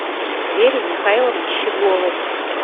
вере михайловне щегловой